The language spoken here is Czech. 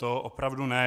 To opravdu ne.